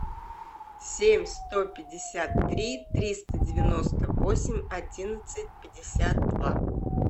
семь сто пятьдесят три триста девяносто восемь одиннадцать пятьдесят два